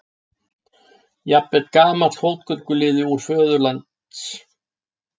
Jafnvel gamall fótgönguliði úr föðurlands